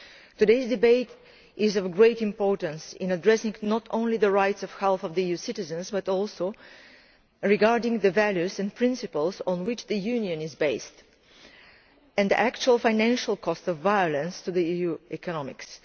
Today's debate is of great importance in addressing not only the rights and health of EU citizens, but also regarding the values and principles on which the Union is based and the actual financial cost of violence to EU economies.